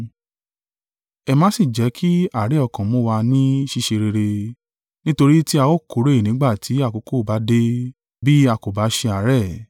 Ẹ má sì jẹ́ kí àárẹ̀ ọkàn mú wa ní ṣíṣe rere, nítorí tí a ó kórè nígbà tí àkókò bá dé, bí a kò bá ṣe àárẹ̀.